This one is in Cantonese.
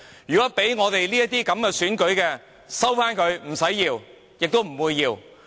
如果是給我們這些選舉，請收回，我們不會要。